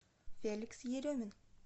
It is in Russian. феликс еремин